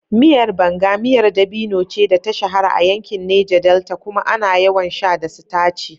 Miyar Banga miyar dabino ce da ta shahara a yankin Neja Delta kuma ana yawan sha da sitaci.